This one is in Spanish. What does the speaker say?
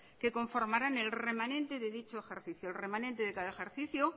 que conformarán el remanente de dicho ejercicio el remanente de cada ejercicio